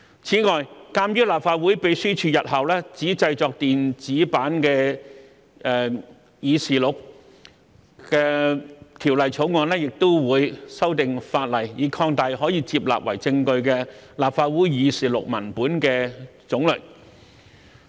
此外，鑒於立法會秘書處日後只製作電子版議事錄，《條例草案》亦會修訂法例，以擴大可接納為證據的立法會議事錄文本的種類。